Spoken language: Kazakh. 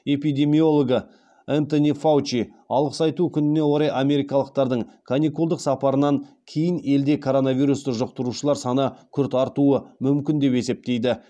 эпидемиологы энтони фаучи алғыс айту күніне орай америкалықтардың каникулдық сапарларынан кейін елде коронавирусты жұқтырушылар саны күрт артуы мүмкін деп есептейді